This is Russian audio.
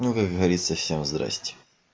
ну как говорится всем здрасте